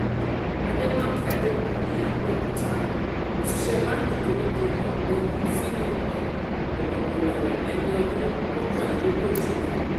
àdèmàkè àdébíyí àbẹ̀òkúta òṣìṣẹ́ báǹkì kéréje ní ọ̀gbẹ́ni philips ọgọ́rọ́mẹ̀ ẹni ọdún mọ́kànlélógójì ni